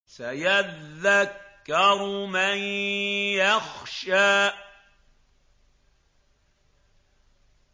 سَيَذَّكَّرُ مَن يَخْشَىٰ